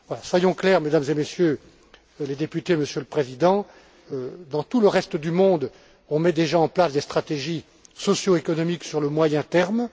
Soyons clairs, Mesdames et Messieurs les députés, Monsieur le Président, dans tout le reste du monde, on met déjà en place des stratégies socio économiques sur le moyen terme.